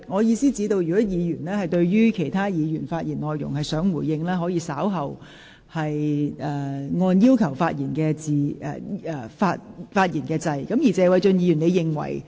如果議員擬回應其他議員的發言內容，可先按下"要求發言"按鈕，稍後輪到他發言時才回應。